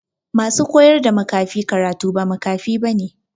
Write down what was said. Ma su koyar da makafi karatu ba makafi ba ne.